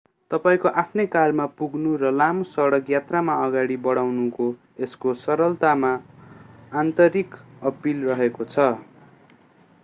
तपाईंको आफ्नै कारमा पुग्नु र लामो सडक यात्रामा अगाडि बढ्नुको यसको सरलतामा आन्तरिक अपील रहेको छ